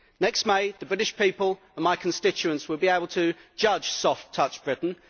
Next May, the British people and my constituents will be able to judge soft touch Britain.